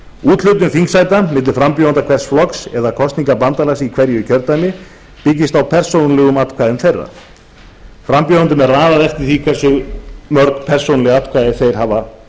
úthlutun þingsæta milli frambjóðenda hvers flokks eða kosningabandalags í hverju kjördæmi byggist á persónulegum atkvæðum þeirra frambjóðendum er raðað eftir því hversu mörg persónuleg atkvæði þeir hafa